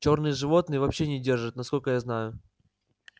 чёрные животных вообще не держат насколько я знаю